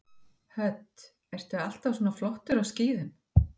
Hödd: Ertu alltaf svona flottur á skíðum?